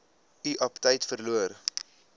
u aptyt verloor